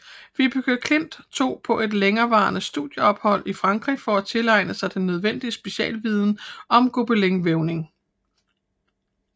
Vibeke Klint tog på et længerevarende studieophold i Frankrig for at tilegne sig den nødvendige specialviden om gobelinvævning